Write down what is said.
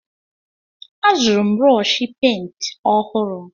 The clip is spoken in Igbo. Azụrụ m brọshi pent ọhụrụ.